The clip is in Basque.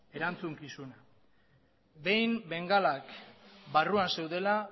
erantzukizuna behin bengalak barruan zeudela